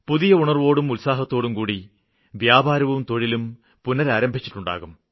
പുതിയ ഉണര്വ്വോടും ഉത്സാഹത്തോടുംകൂടി വ്യാപാരവും തൊഴിലും പുനരാരംഭിച്ചിട്ടുണ്ടാവും